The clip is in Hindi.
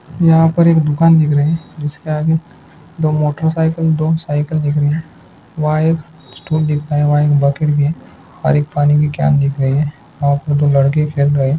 यहां पर एक दुकान देखनी है। इसका आदमी दो मोटरसाइकिल दिख रहा है। वायर ]